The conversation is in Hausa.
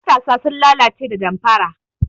Matasa sun lalace da damfara.